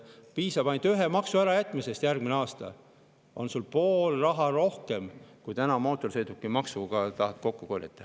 Piisab ainult ühe maksu ära jätmisest järgmisel aastal ja on poole võrra rohkem raha, kui täna mootorsõidukimaksuga kokku tahtetakse korjata.